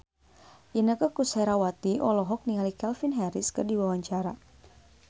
Inneke Koesherawati olohok ningali Calvin Harris keur diwawancara